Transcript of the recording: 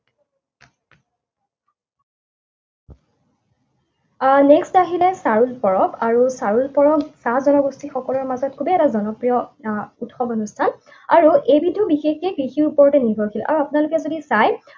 আহ Next আহিলে চাৰুল পৰৱ আৰু চাৰুল পৰৱ চাহ জনগোষ্ঠীসকলৰ মাজত খুবেই এটা জনপ্ৰিয় আহ উৎসৱ অনুষ্ঠান। আৰু এইবিধো বিশেষকে কৃষিৰ ওপৰতে নিৰ্ভৰশীল। আৰু আপোনালোকে যদি চাই